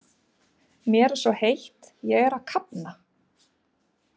Mér er svo heitt, ég er að kafna.